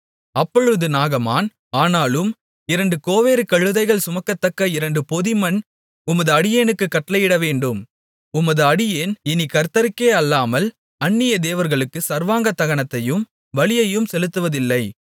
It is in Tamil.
அப்பொழுது நாகமான் ஆனாலும் இரண்டு கோவேறு கழுதைகள் சுமக்கத்தக்க இரண்டு பொதி மண் உமது அடியேனுக்குக் கட்டளையிடவேண்டும் உமது அடியேன் இனிக் கர்த்தருக்கே அல்லாமல் அந்நிய தேவர்களுக்குச் சர்வாங்க தகனத்தையும் பலியையும் செலுத்துவதில்லை